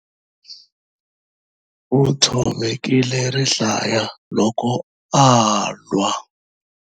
U tshovekile rihlaya loko a lwa.